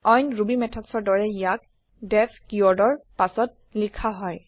অইন ৰুবি methodsৰ দৰেই ইয়াক ডিইএফ কিৱৰ্ডৰ পাছত লিখা হয়